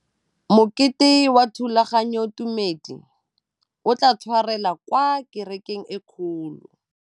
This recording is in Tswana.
Mokete wa thulaganyôtumêdi o tla tshwarelwa kwa kerekeng e kgolo.